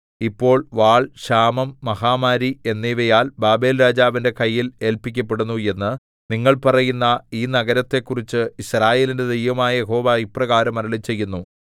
ഇപ്പോൾ വാൾ ക്ഷാമം മഹാമാരി എന്നിവയാൽ ബാബേൽരാജാവിന്റെ കയ്യിൽ ഏല്പിക്കപ്പെടുന്നു എന്ന് നിങ്ങൾ പറയുന്ന ഈ നഗരത്തെക്കുറിച്ച് യിസ്രായേലിന്റെ ദൈവമായ യഹോവ ഇപ്രകാരം അരുളിച്ചെയ്യുന്നു